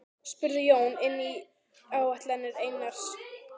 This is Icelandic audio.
spurði Jón inn í áætlanir Einars.